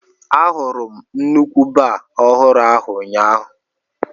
Ahụrụ m nnukwu baa ọhụrụ ahụ ụnyaahụ.